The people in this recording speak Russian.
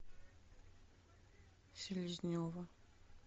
селезнева